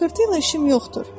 Laqeydliyə işim yoxdur.